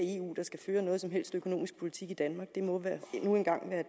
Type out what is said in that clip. skal føre nogen som helst økonomisk politik i danmark det må nu engang være